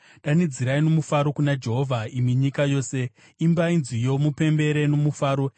Danidzirai nomufaro kuna Jehovha, imi nyika yose, imbai nziyo mupembere nomufaro;